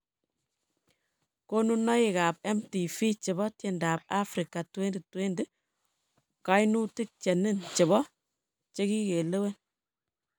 Konunoik ab MTV chebo tiendab Afrika 2020: Kainutik che nin chebo che kigilewen